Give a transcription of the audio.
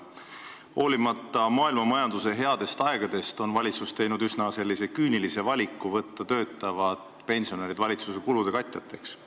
Hoolimata maailmamajanduse headest aegadest on valitsus teinud sellise üsna küünilise valiku võtta töötavad pensionärid valitsuse kulude katjateks.